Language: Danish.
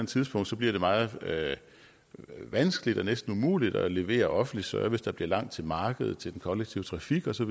tidspunkt bliver meget vanskeligt eller næsten umuligt at levere offentlig service der bliver langt til markedet og til den kollektive trafik og så